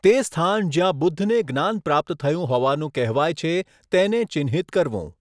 તે સ્થાન જ્યાં બુદ્ધને જ્ઞાન પ્રાપ્ત થયું હોવાનું કહેવાય છે તેને ચિહ્નિત કરવું.